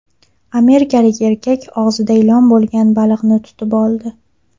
Amerikalik erkak og‘zida ilon bo‘lgan baliqni tutib oldi.